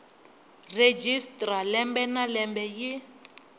registrar lembe na lembe yi